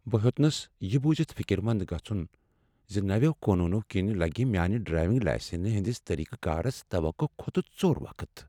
بہٕ ہیوتنَس یہٕ بوٗزِتھ پتہٕ فِكِر مند گژُھن رُكٲوِتھ زِ نویو قونوٗنو كِنہِ لٕگہِ میٲنہِ ڈرایوِنگ لاسنہِ ہندِس طٔریقہٕ کارس توقع کھۄتہٕ ژوٚر وقت ۔